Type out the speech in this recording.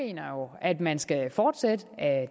at man skal fortsætte ad